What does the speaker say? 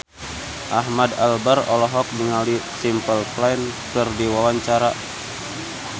Ahmad Albar olohok ningali Simple Plan keur diwawancara